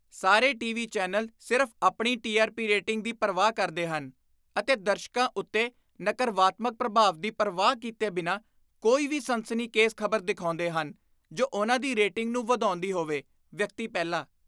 ਸਾਰੇ TV. Channel ਸਿਰਫ਼ ਆਪਣੀ ਟੀ ਆਰ ਪੀ ਰੇਟਿੰਗ ਦੀ ਪਰਵਾਹ ਕਰਦੇ ਹਨ ਅਤੇ ਦਰਸ਼ਕਾਂ ਉੱਤੇ ਨਕਰਵਾਤਮਕ ਪ੍ਰਭਾਵ ਦੀ ਪਰਵਾਹ ਕੀਤੇ ਬਿਨਾਂ ਕੋਈ ਵੀ ਸਨਸਨੀਖੇਜ਼ ਖ਼ਬਰ ਦਿਖਾਉਂਦੇ ਹਨ ਜੋ ਉਹਨਾਂ ਦੀ ਰੇਟਿੰਗ ਨੂੰ ਵਧਾਉਂਦੀ ਹੋਵੇ ਵਿਅਕਤੀ ਪਹਿਲਾ